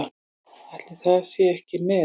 Ætli það sé ekki met?